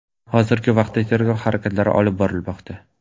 Hozirgi vaqtda tergov harakatlari olib borilmoqda.